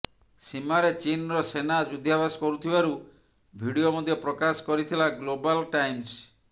ସୀମାରେ ଚୀନର ସେନା ଯୁଦ୍ଧାଭ୍ୟାସ କରୁଥିବାରୁ ଭିଡିଓ ମଧ୍ୟ ପ୍ରକାଶ କରିଥିଲା ଗ୍ଲୋବାଲ ଟାଇମ୍ସ